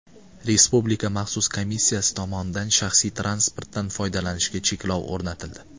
Respublika maxsus komissiyasi tomonidan shaxsiy transportdan foydalanishga cheklov o‘rnatildi .